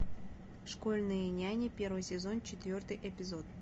школьные няни первый сезон четвертый эпизод